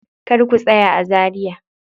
Kar ku tsaya a Zaria.